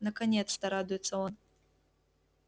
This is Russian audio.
наконец-то радуется он